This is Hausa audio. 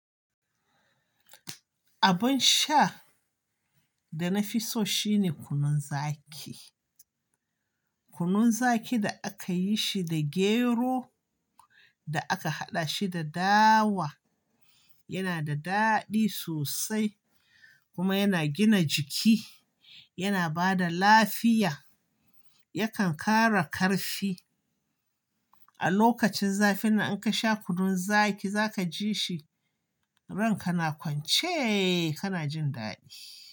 Abin sha da na fi so shine kunun zaki. Kunun zaki da aka yi shi da gero da aka haɗa shi da dawa yana da daɗi sosai kuma yana gina jiki, yana ba da lafiya, yakan kara ƙarfi. A lokacin zafi nan in ka sha kunun zaki za ka ji shi ran ka na kwance ka na jin daɗi.